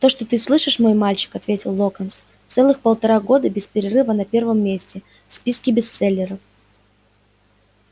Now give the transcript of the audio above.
то что ты слышишь мой мальчик ответил локонс целых полтора года без перерыва на первом месте в списке бестселлеров